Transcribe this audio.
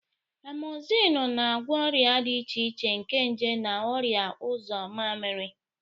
Amozinu na-agwọ ọrịa dị iche iche nke nje na ọrịa uzo mamiri.